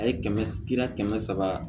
A ye kɛmɛ kira kɛmɛ saba